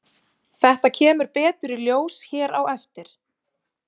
Þetta kemur betur í ljós hér á eftir.